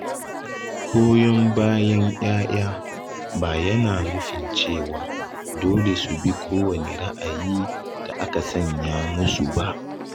Goyon bayan ‘ya’ya ba yana nufin cewa dole su bi kowane ra’ayi da aka sanya musu ba.